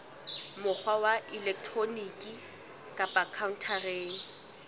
mokgwa wa elektroniki kapa khaontareng